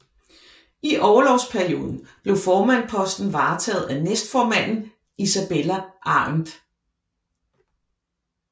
I orlovsperioden blev formandsposten varetaget af næstformanden Isabella Arendt